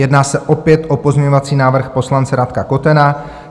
Jedná se opět o pozměňovací návrh poslance Radka Kotena.